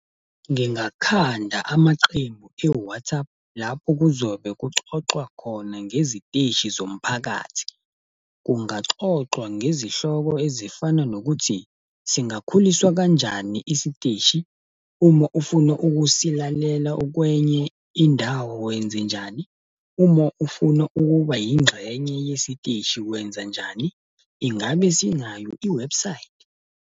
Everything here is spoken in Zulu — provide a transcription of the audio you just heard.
Ngingakhanda amaqembu e-WhatsApp, lapho kuzobe kuxoxwa khona ngeziteshi zomphakathi. Kungaxoxwa ngezihloko ezifana nokuthi, singakhuliswa kanjani isiteshi, uma ufuna ukusilalela ukwenye indawo wenzenjani, uma ufuna ukuba ingxenye yesiteshi wenzanjani? Ingabe sinayo i-website?